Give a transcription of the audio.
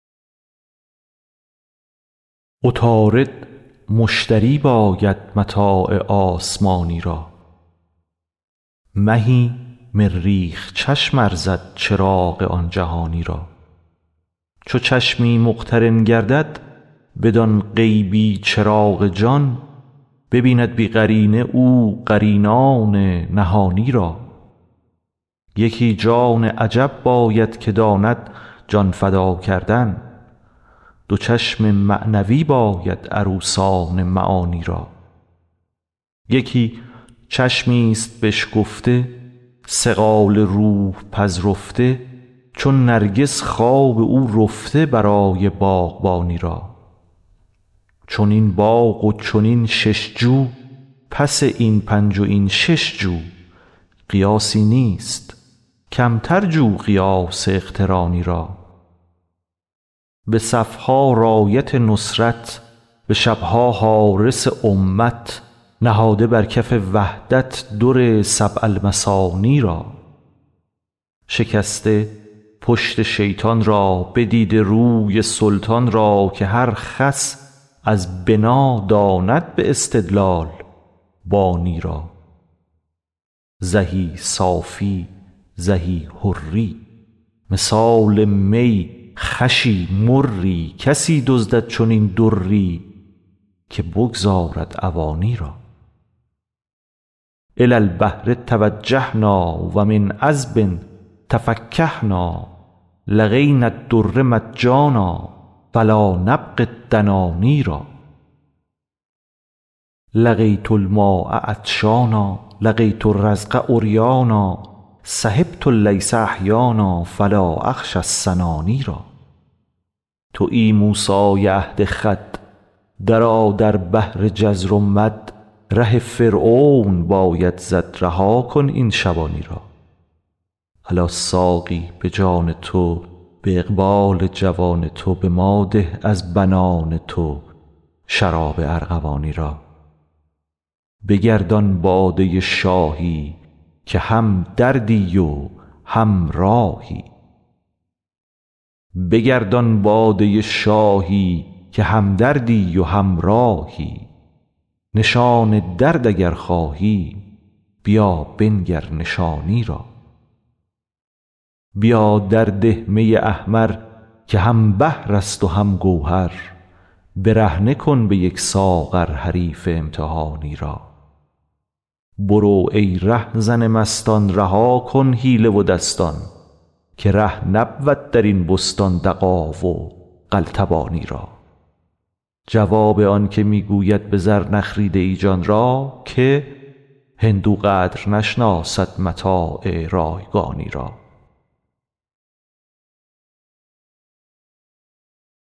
عطارد مشتری باید متاع آسمانی را مهی مریخ چشم ارزد چراغ آن جهانی را چو چشمی مقترن گردد بدان غیبی چراغ جان ببیند بی قرینه او قرینان نهانی را یکی جان عجب باید که داند جان فدا کردن دو چشم معنوی باید عروسان معانی را یکی چشمی ست بشکفته صقال روح پذرفته چو نرگس خواب او رفته برای باغبانی را چنین باغ و چنین شش جو پس این پنج و این شش جو قیاسی نیست کمتر جو قیاس اقترانی را به صف ها رأیت نصرت به شب ها حارس امت نهاده بر کف وحدت در سبع المثانی را شکسته پشت شیطان را بدیده روی سلطان را که هر خس از بنا داند به استدلال بانی را زهی صافی زهی حری مثال می خوشی مری کسی دزدد چنین دری که بگذارد عوانی را إلى البحر توجهنا و من عذب تفکهنا لقينا الدر مجانا فلا نبغي الدناني را لقيت الماء عطشانا لقيت الرزق عريانا صحبت الليث أحيانا فلا أخشى السناني را توی موسی عهد خود درآ در بحر جزر و مد ره فرعون باید زد رها کن این شبانی را الا ساقی به جان تو به اقبال جوان تو به ما ده از بنان تو شراب ارغوانی را بگردان باده شاهی که همدردی و همراهی نشان درد اگر خواهی بیا بنگر نشانی را بیا درده می احمر که هم بحر است و هم گوهر برهنه کن به یک ساغر حریف امتحانی را برو ای رهزن مستان رها کن حیله و دستان که ره نبود در این بستان دغا و قلتبانی را جواب آنک می گوید به زر نخریده ای جان را که هندو قدر نشناسد متاع رایگانی را